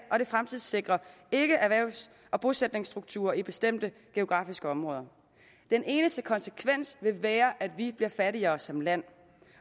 og det fremtidssikrer ikke erhvervs og bosætningsstrukturer i bestemte geografiske områder den eneste konsekvens vil være at vi bliver fattigere som land